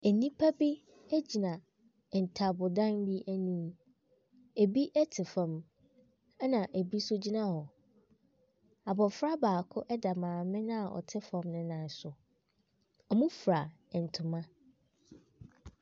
Nnipa bi gyina ntaabodan anim. Ebi te fam, ebi nso gyina hɔ. Abofra baako da maame a ɔte hɔ no nan so. Wɔfura ntoma.